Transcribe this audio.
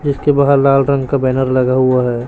जिसके बाहर लाल रंग का बैनर लगा हुवा हैं।